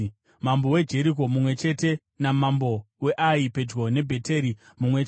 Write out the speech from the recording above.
mambo weJeriko mumwe chete namambo weAi (pedyo neBheteri) mumwe chete